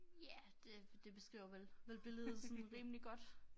Ja det det beskriver vel vel billedet sådan rimelig godt